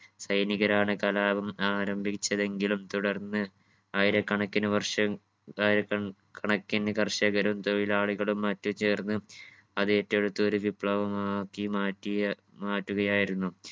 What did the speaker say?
സൈനികരാണ് കലാപം ആരംഭിച്ചതെങ്കിലും തുടർന്ന് ആയിരക്കണക്കിന് വർഷം ആയിരക്കണ് കണക്കിന് കർഷകരും തൊഴിലാളികളും മറ്റ് ചേർന്ന് അത് ഏറ്റെടുത്ത് ഒരു വിപ്ലവമാക്കി മാറ്റിയ മാറ്റുകയായിരുന്നു.